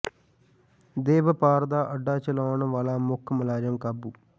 ਦੇਹ ਵਪਾਰ ਦਾ ਅੱਡਾ ਚਲਾਉਣ ਵਾਲਾ ਮੁੱਖ ਮੁਲਜ਼ਮ ਕਾਬੂ